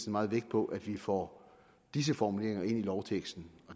meget vægt på at vi får disse formuleringer ind i lovteksten